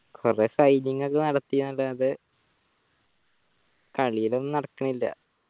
കൊറേ ഒക്കെ നടത്തിനല്ലോ അത് കളിയിലൊന്നും നടക്കണില്ല